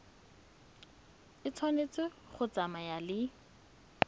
e tshwanetse go tsamaya le